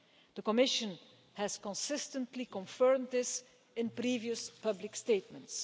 The Commission has consistently confirmed this in previous public statements.